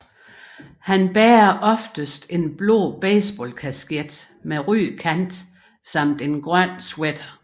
Han bærer oftest en blå baseballkasket med rød kant samt en grøn sweater